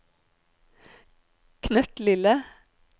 knøttlille